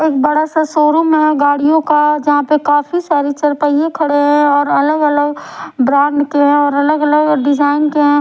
एक बड़ा सा शोरूम है गाड़ियों का जहां पे काफी सारी चार पहिया खड़े हैं और अलग अलग ब्रांड के है और अलग अलग डिजाइन के है।